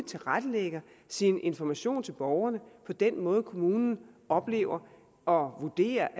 tilrettelægger sin information til borgerne på den måde som kommunen oplever og vurderer